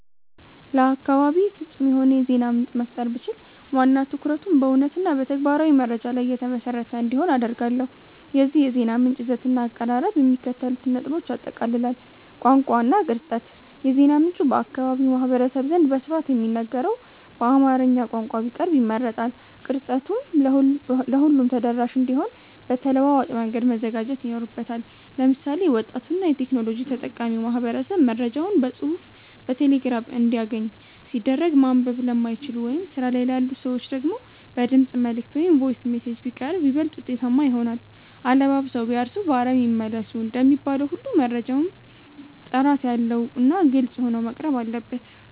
ለአካባቤ ፍጹም የሆነ የዜና ምንጭ መፍጠር ብችል፣ ዋና ትኩረቱ በእውነትና በተግባራዊ መረጃ ላይ የተመሰረተ እንዲሆን አደርጋለሁ። የዚህ የዜና ምንጭ ይዘትና አቀራረብ የሚከተሉትን ነጥቦች ያጠቃልላል፦ ቋንቋ እና ቅርጸት፦ የዜና ምንጩ በአካባቢው ማህበረሰብ ዘንድ በስፋት በሚነገረው በአማርኛ ቋንቋ ቢቀርብ ይመረጣል። ቅርጸቱም ለሁሉም ተደራሽ እንዲሆን በተለዋዋጭ መንገድ መዘጋጀት ይኖርበታል። ለምሳሌ፣ ወጣቱና የቴክኖሎጂ ተጠቃሚው ማህበረሰብ መረጃዎችን በጽሑፍ በቴሌግራም እንዲያገኝ ሲደረግ፣ ማንበብ ለማይችሉ ወይም ስራ ላይ ላሉ ሰዎች ደግሞ በድምፅ መልዕክት (Voice Messages) ቢቀርብ ይበልጥ ውጤታማ ይሆናል። "አለባብሰው ቢያርሱ በአረም ይመለሱ" እንደሚባለው ሁሉ፣ መረጃው ጥራት ያለውና ግልጽ ሆኖ መቅረብ አለበት።